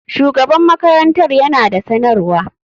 Shugaban makarantar yana da sanarwa.